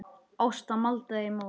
Ásta maldaði í móinn.